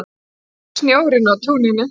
Ég snjórinn á túninu